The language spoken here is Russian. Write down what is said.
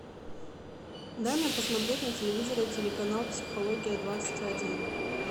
дай мне посмотреть на телевизоре телеканал психология двадцать один